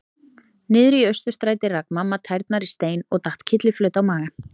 Niðri í Austurstræti rak mamma tærnar í stein og datt kylliflöt á magann.